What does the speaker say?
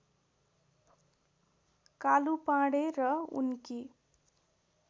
कालु पाँडे र उनकी